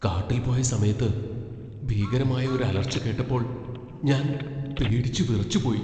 കാട്ടിൽ പോയ സമയത്ത് ഭീകരമായ ഒരു അലർച്ച കേട്ടപ്പോൾ ഞാൻ പേടിച്ചു വിറച്ചുപോയി .